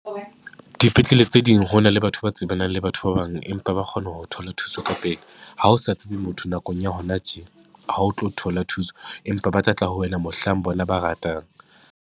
Dipetlele tse ding, ho na le batho ba tsebana le batho ba bang, empa ba kgona ho thola thuso ka pele. Ha o sa tsebe motho nakong ya hona tje ha o tlo thola thuso, empa ba tla tla ho wena mohlang bona ba ratang.